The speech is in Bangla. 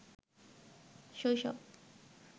শৈশব